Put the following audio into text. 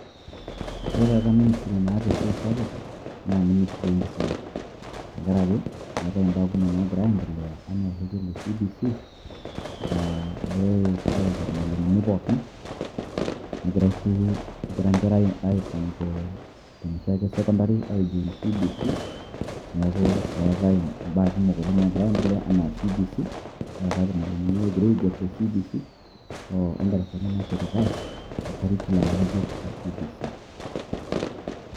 Ore taata minisiri naata esiai SAPUK naa minisiri enkisuma, tengaraki eetae ibaa kumok naagira aendelea, anaa orrekie le CBC, aa egirae Aiko irmalimuni pookin, egirae sii, egira enkera aipang' tenoshiake sekondari ajing' CBC neaku egira etae baa kumok oleng' naagira enaa CBC neetae irmalimuni oogirae aigerr enaa CBC odarasani naashetitae okarikilam ng'ejuk.